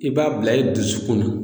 I b'a bila i dusukun na